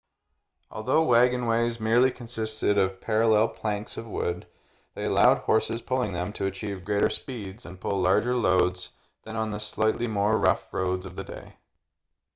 although wagonways merely consisted of parallel planks of wood they allowed horses pulling them to achieve greater speeds and pull larger loads than on the slightly more rough roads of the day